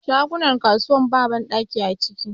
Shagunan kasuwar ba banɗaki a ciki